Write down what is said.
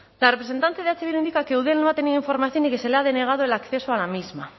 la representante de eh bildu indica que eudel no ha tenido información y que se le ha denegado el acceso a la misma